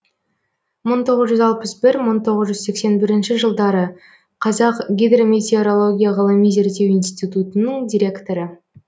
мың тоғыз жүз алпыс бір мың тоғыз жүз сексен бірінші жылдары қазақ гидрометеорология ғылыми зерттеу институтының директоры